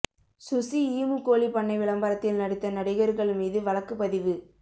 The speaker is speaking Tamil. சுசி ஈமு கோழிப் பண்ணை விளம்பரத்தில் நடித்த நடிகர்கள் மீது வழக்குப்பதிவு